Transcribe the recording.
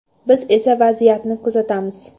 Biz esa vaziyatni kuzatamiz.